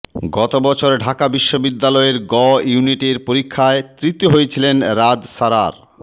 গত বছর ঢাকা বিশ্ববিদ্যালয়ের গ ইউনিটের পরীক্ষায় তৃতীয় হয়েছিলেন রাদ সারার